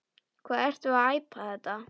Hvað ertu að æpa þetta.